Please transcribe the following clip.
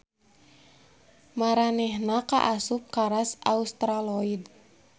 Maranehna kaasup ka ras Australoid.